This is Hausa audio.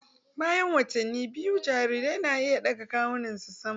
Bayan watanni biyu, jarirai na iya ɗaga kawunansu sama